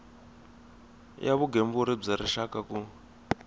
ya vugembuli bya rixaka ku